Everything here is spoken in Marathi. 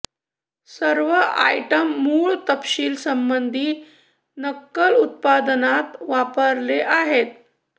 सर्व आयटम मूळ तपशील संबंधित नक्कल उत्पादनात वापरले आहेत